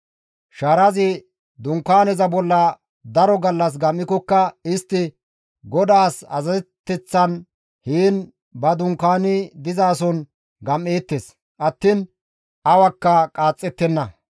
Shaarazi Dunkaaneza bolla daro gallas gam7ikokka istti GODAAS azazeteththan heen ba dunkaani dizason gam7eettes attiin awakka qaaxxettenna.